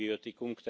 muy productivos.